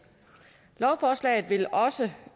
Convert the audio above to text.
lovforslaget vil også